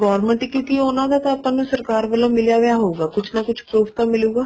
government ਕਿਉਂਕਿ ਉਹਨਾ ਦਾ ਤਾਂ ਆਪਾਂ ਨੂੰ ਸਰਕਾਰ ਵਲੋਂ ਮਿਲਿਆਂ ਵਾ ਹਉਗਾ ਕੁੱਛ ਨਾ ਕੁੱਛ prof ਮਿਲੂਗਾ